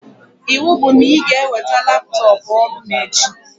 Iwu bụ na ị ga-eweta laptọpụ ọrụ mụ echi!